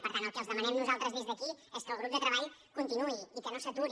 per tant el que els demanem nosaltres des d’aquí és que el grup de treball continuï i que no s’aturi